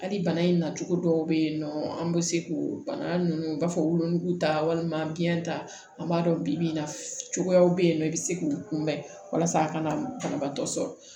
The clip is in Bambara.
Hali bana in na cogo dɔw bɛ yen nɔ an bɛ se k'o bana ninnu u b'a fɔ wolonugu ta walima biɲɛ ta an b'a dɔn bibi in na cogoyaw bɛ yen nɔ i bɛ se k'u kunbɛn walasa a kana banabaatɔ sɔrɔ